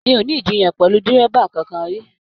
Mi o ni ijiyan pẹlú dírẹ́bà kánkan ri.